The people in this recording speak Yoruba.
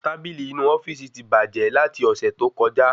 Tábìlì inu ofíìsì ti bàjẹ́ lati ọsẹ tó kọjá